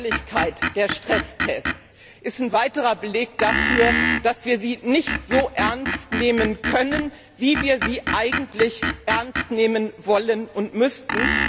Die Freiwilligkeit der Stresstests ist ein weiterer Beleg dafür, dass wir sie nicht so ernst nehmen können, wie wir eigentlich wollen und müssten.